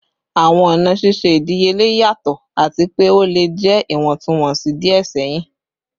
Awọn ọna ṣiṣe idiyele yatọ ati pe o le jẹ iwọntunwọnsi diẹ sẹhin